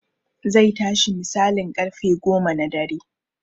Zai tashi misalin ƙarfe goma na dare